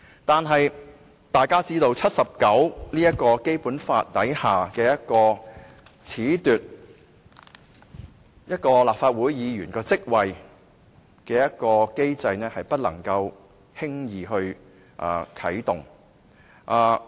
但是，大家知道，《基本法》第七十九條下褫奪立法會議員職位的機制是不能輕易地啟動的。